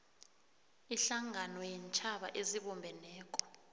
ihlangano yeentjhaba ezibumbeneko